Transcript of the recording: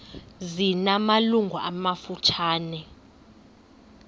zina malungu amafutshane